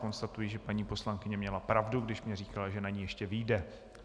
Konstatuji, že paní poslankyně měla pravdu, když mi říkala, že na ni ještě vyjde.